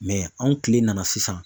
anw kile nana sisan